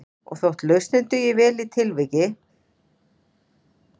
Og þótt lausnin dugir vel í tilviki